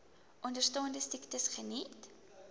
onderstaande siektes geniet